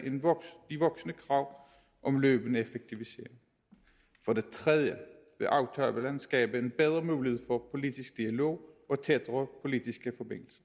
de voksende krav om løbende effektivisering for det tredje vil aftalen skabe en bedre mulighed for politisk dialog og tættere politiske